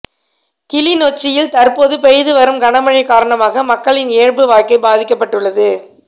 கிளிநொச்சியில் தற்போது பெய்து வரும் கனமழை காரணமாக மக்களின் இயல்பு வாழ்க்கை பாதிக்கப்பட்டுள்ளது